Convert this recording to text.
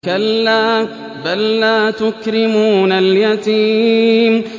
كَلَّا ۖ بَل لَّا تُكْرِمُونَ الْيَتِيمَ